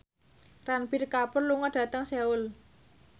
Ranbir Kapoor lunga dhateng Seoul